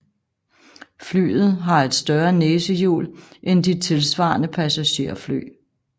Flyet har et større næsehjul end de tilsvarende passagerfly